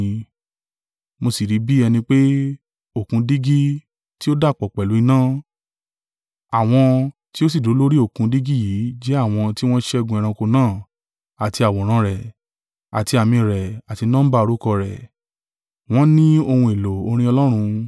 Mo sì rí bí ẹni pé, Òkun dígí tí o dàpọ̀ pẹ̀lú iná: àwọn tí ó sì dúró lórí Òkun dígí yìí jẹ́ àwọn ti wọ́n ṣẹ́gun ẹranko náà, àti àwòrán rẹ̀, àti àmì rẹ̀ àti nọ́mbà orúkọ rẹ̀, wọn ní ohun èlò orin Ọlọ́run.